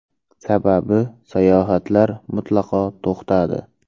Sababi, sayohatlar mutlaqo to‘xtadi.